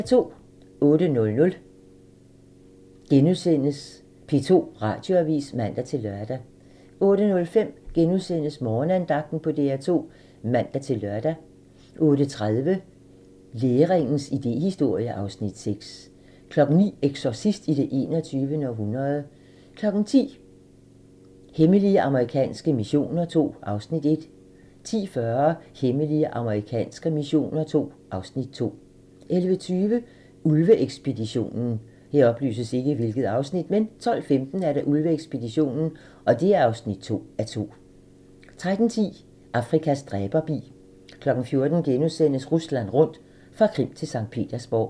08:00: P2 Radioavis *(man-lør) 08:05: Morgenandagten på DR2 *(man-lør) 08:30: Læringens idéhistorie (Afs. 6) 09:00: Exorcist i det 21. århundrede 10:00: Hemmelige amerikanske missioner II (Afs. 1) 10:40: Hemmelige amerikanske missioner II (Afs. 2) 11:20: Ulve-ekspeditionen 12:15: Ulve-ekspeditionen (2:2) 13:10: Afrikas dræberbi 14:00: Rusland rundt - fra Krim til Skt. Petersborg *